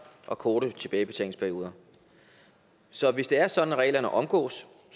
og korte tilbagebetalingsperioder så hvis det er sådan at reglerne omgås